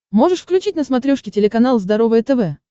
можешь включить на смотрешке телеканал здоровое тв